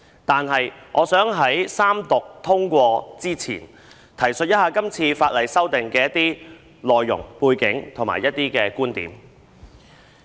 但是，我想在三讀通過《條例草案》之前，提述一下今次法例修訂的內容、背景和觀點。